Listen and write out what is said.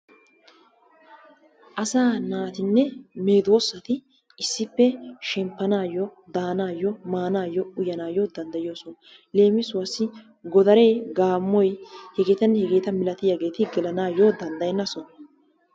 Asaa naatinne medoosati issippe shempanaayo, danaayo, maanaayo, uyanaayo danddayoosona, lemissuwassi godaree, gaamoy, hegeetannne hegeeta malattiyageeti gelanaayo danddayenna sohuwa